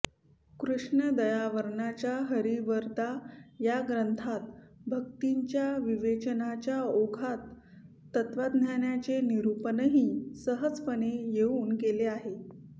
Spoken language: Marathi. कृष्णदयार्णवाच्या हरिवरदा या ग्रंथात भक्तीच्या विवेचनाच्या ओघात तत्त्वज्ञानाचे निरूपणही सहजपणे येऊन गेले आहे